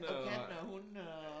Og kattene og hundene og